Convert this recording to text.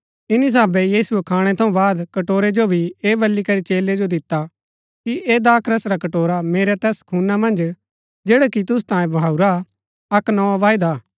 इन्‍नी साहभे यीशुऐ खाणै थऊँ बाद कटोरै जो भी ऐह बल्ली करी चेलै जो दिता कि ऐह दाखरस रा कटोरा मेरै तैस खूना मन्ज जैडा कि तुसु तांयें बहाऊरा अक्क नोआ वायदा हा